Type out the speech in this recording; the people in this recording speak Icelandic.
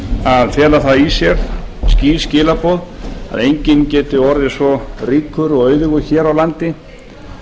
að fela í sér skýr skilaboð um að enginn geti orðið svo ríkur og auðugur hér á landi